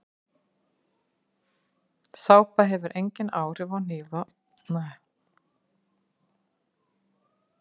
Sápa hefur engin áhrif á hnífa umfram þau að hún gerir þá hreina.